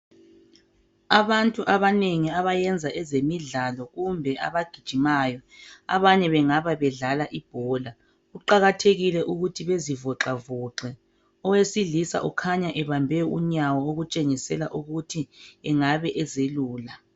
Abantu abanengi abayenza ezemindlalo Kumbe abagijimayo abanye bengabe bedlala ibhola kuqakathekile ukuthi bezivoxavoxe owesilisa ukhanya ebambe unyawo okutshengisela ukuthi engabe ezelula.